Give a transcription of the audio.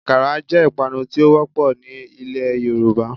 Àkàrà jẹ́ ìpanu tí ó wọ́pọ̀ ní ilẹ̀ Yorùbá